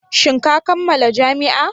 Shin ka kammala jami'a?